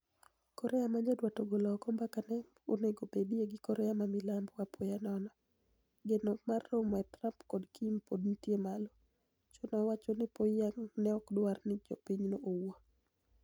Korea ma nyaduat ogolo oko mbaka ma ne onego obedie gi Korea ma milambo apoya nono . Geno mar romo e kind Trump kod Kim pod nitie malo . Choe nowacho ni Pyongyang ne ok dwar ni jo pinyno owuo.